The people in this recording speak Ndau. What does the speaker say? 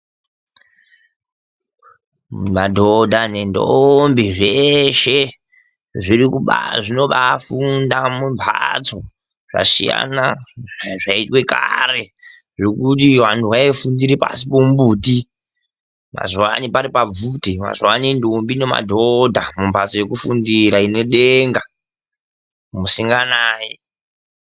Madhodha nentombi zveshe zvinombaafundire mumbatso zvasiana nezvayiitwe Kare zvokuti anhu vayifundire pasi pomumuti mazuvano vanenge varipasi pomubvuti. Mazuvano ntombi nemadhodha mumbatso dzokufundira munedenga, musinganayi.